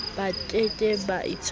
ba ke ba itekole ba